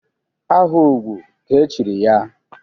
Aha ugwu ka e chiri ya?